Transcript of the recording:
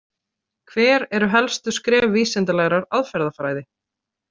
Hver eru helstu skref vísindalegrar aðferðafræði?